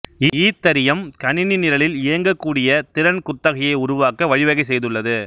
Ethereum கணினி நிரலில் இயங்கக்கூடிய திறன் குத்தகையை உருவாக்க வழிவகை செய்துள்ளது